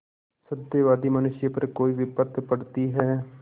सत्यवादी मनुष्य पर कोई विपत्त पड़ती हैं